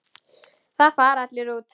Þá fara allir út.